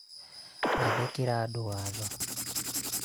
gathĩkĩra andũ watho